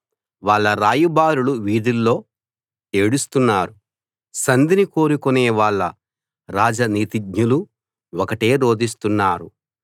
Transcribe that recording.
వాళ్ళ రాయబారులు వీధిలో ఏడుస్తున్నారు సంధిని కోరుకునే వాళ్ళ రాజనీతిజ్ఞులు ఒకటే రోదిస్తున్నారు